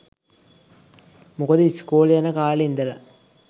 මොකද ‍ඉස්කෝලෙ යන කාලෙ ඉදලා